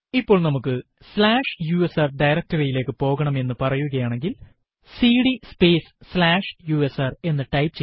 ഇപ്പോൾ നമുക്ക് slash USR directory യിലേക്ക് പോകണം എന്ന് പറയുകയാണെങ്കിൽ സിഡി സ്പേസ് സ്ലാഷ് യുഎസ്ആർ എന്ന് ടൈപ്പ് ചെയ്യുക